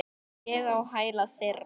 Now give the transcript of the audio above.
Og ég á hæla þeirra.